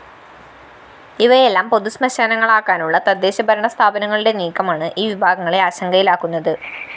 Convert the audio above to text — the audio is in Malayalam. ഇവയെല്ലാം പൊതുശ്മശാനങ്ങളാക്കാനുള്ള തദ്ദേശ ഭരണസ്ഥാപനങ്ങളുടെ നീക്കമാണ് ഈ വിഭാഗങ്ങളെ ആശങ്കയിലാക്കുന്നത്